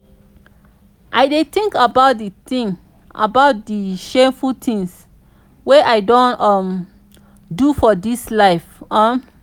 i dey tink about di tink about di shameful tins wey i don um do for dis life. um